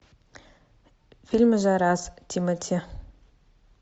фильмы за раз тимати